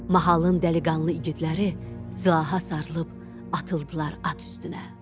Mahalı dəliqanlı iqidləri silaha sarılıb atıldılar at üstünə.